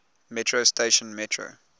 metro station metro